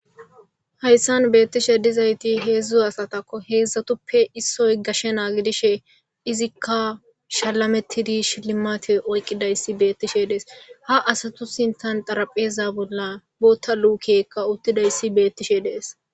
Hayssan betishe dizaysati hedzu asatako hedzatuppe issoy gashshe na'a godishshe izika shalametidi shilimate oykidaysi bettishe des ha asatu sinthankka tarapheza bola boththa lukeykka uttiday bettishe des